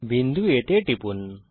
বিন্দু A তে টিপুন